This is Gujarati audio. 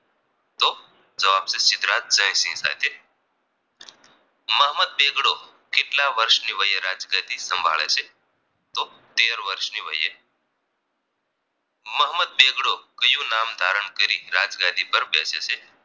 મોહમ્મદ બેગડો કેટલા વર્ષની વયે રાજગાદી સંભાળે છે તો તેર વર્ષની વયે મોહમ્મદ બેગડો કયું નામ ધારણ કરી રાજગાદી પર બેસે છે